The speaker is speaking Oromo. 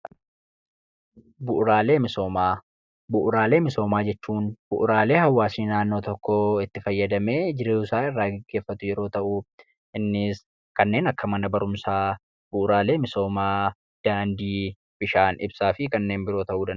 Bu'uuraalee misoomaa, bu'uuraalee misoomaa jechuun bu'uuraalee hawaasti tokko itti fayyadamee jiruu isaa gaggeeffatu yeroo ta'u, innis kanneen akka mana barumsaa, bu'uuraalee misoomaa daandii bishaan fi ibsaa ta'u.